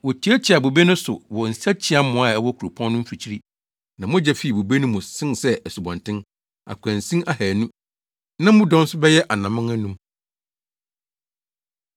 Wotiatiaa bobe no so wɔ nsakyiamoa a ɛwɔ kuropɔn no mfikyiri, na mogya fii bobe no mu sen sɛ asubɔnten, akwansin ahannu na mu dɔ nso bɛyɛ anammɔn anum.